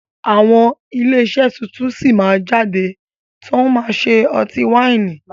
Àwọn ilé iṣẹ́ tuntun sí máa jáde tòun ṣe ọtí wáìnì